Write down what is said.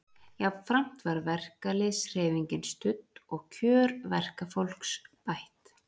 Jafnframt var verkalýðshreyfingin studd og kjör verkafólks bætt.